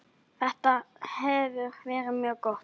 Þetta hefur verið mjög gott.